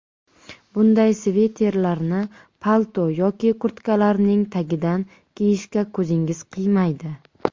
Bunday sviterlarni palto yoki kurtkalarning tagidan kiyishga ko‘zingiz qiymaydi.